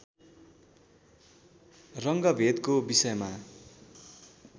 रङ्गभेदको विषयमा